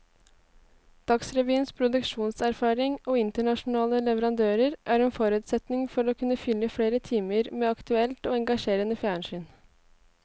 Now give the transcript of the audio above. Dagsrevyens produksjonserfaring og internasjonale leverandører er en forutsetning for å kunne fylle flere timer med aktuelt og engasjerende fjernsyn.